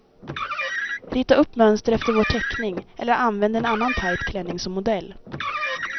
Rita upp mönster efter vår teckning, eller använd en annan tajt klänning som modell.